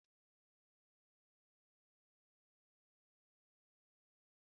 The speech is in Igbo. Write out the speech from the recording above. Nne nne Daniel na-esi ofe okro kacha mma n'Ebonyi